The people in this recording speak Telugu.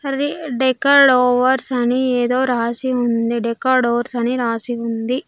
రీ డెకడోవర్స్ అని ఏదో రాసి ఉంది డెకడోర్స్ అని రాసి ఉంది.